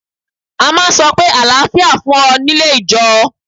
A máa ń sọ pé àlàáfíà fún ọ nílé ìjọe.